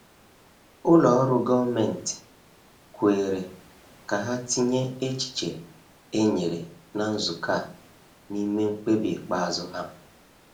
Ụlọ ọrụ gọọmenti kwere ka ha tinye echiche e nyere na nzukọ a n’ime mkpebi ikpeazụ ha.